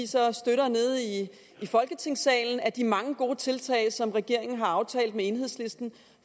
så støtter nede i folketingssalen blandt de mange gode tiltag som regeringen har aftalt med enhedslisten